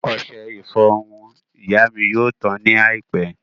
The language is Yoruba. Ọṣẹ ìfọrun ìyá mi yóò tán ní àìpẹ́